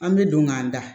An bɛ don k'an da